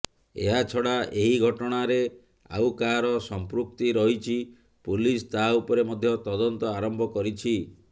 ଏହାଛଡ଼ା ଏହି ଘଟଣାରେ ଆଉ କାହାର ସମ୍ପୃକ୍ତି ରହିଛି ପୋଲିସ ତାହା ଉପରେ ମଧ୍ୟ ତଦନ୍ତ ଆରମ୍ଭ କରିଛି